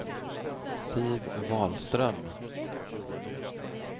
Siv Wahlström